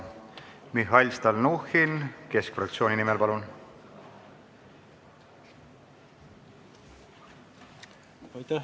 Mihhail Stalnuhhin Keskerakonna fraktsiooni nimel, palun!